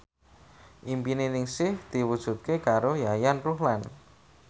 impine Ningsih diwujudke karo Yayan Ruhlan